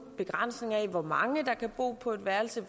begrænsning af hvor mange der kan bo på ét værelse